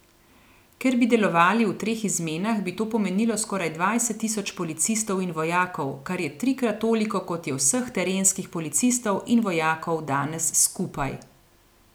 Ker bi delovali v treh izmenah, bi to pomenilo skoraj dvajset tisoč policistov in vojakov, kar je trikrat toliko, kot je vseh terenskih policistov in vojakov danes skupaj.